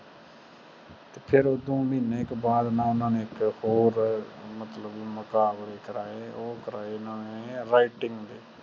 ਫਿਰ ਓਧਰੋਂ ਮਹੀਨੇ ਕੇ ਬਾਦ ਓਹਨਾ ਨੇ ਇਕ ਹੋਰ ਮਤਲਬ ਮੁਕਾਬਲਕੇ ਕਰਵਾਏ ਉਹ ਕਰਵਾਏ ਓਹਨਾ ਨੇ writing ਦੇ